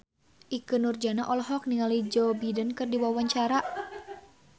Ikke Nurjanah olohok ningali Joe Biden keur diwawancara